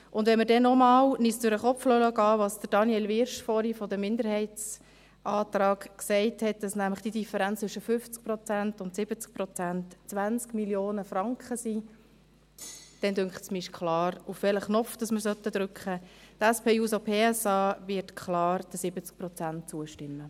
Und wenn wir uns noch einmal durch den Kopf gehen lassen, was Daniel Wyrsch vorhin zum Minderheitsantrag gesagt hat, dass nämlich die Differenz zwischen 50 Prozent und 70 Prozent 20 Mio. Franken beträgt, denke ich, ist klar, auf welchen Abstimmungsknopf wir drücken sollten.